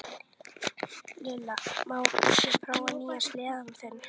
Lilla, má ég prófa nýja sleðann þinn?